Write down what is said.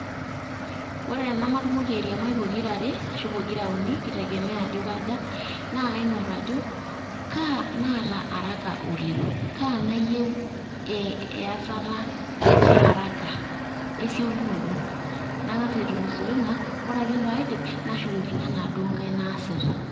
Ore tenematumoki airiamai pokirare ashu pokira uni neitegemea ajo kaja naa kaing'or ajo kaa naata araka oleng kaa nayieu eyatata earaka esiokinoto naa kang'as aitulusoo ina ore ake pee aidip nashukokino enaduu naasita